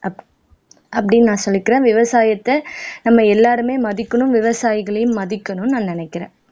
அப்படின்னு நான் சொல்லிக்கிறேன் விவசாயத்தை நம்ம எல்லாருமே மதிக்கணும் விவசாயிகளையும் மதிக்கணும்ன்னு நான் நினைக்கிறேன்